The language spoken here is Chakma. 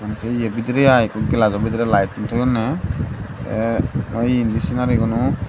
jey ye bidirey i ekko glass jo bidirey light tun jolonney a ye endey senari guno.